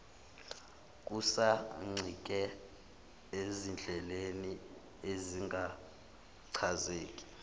kusancike ezindleleni ezingachazeki